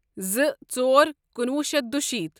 زٕ ژور کُنوُہ شیتھ دُشیٖتھ